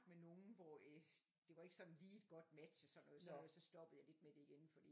Men nogen hvor øh det var ikke sådan lige et godt match og sådan noget sådan noget så stoppede jeg lidt med det igen fordi